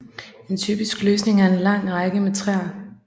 En typisk løsning er lange rækker med træer